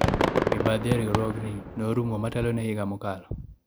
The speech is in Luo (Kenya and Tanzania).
mibadhi e riwruogni ne orumo motelo ne higa mokalo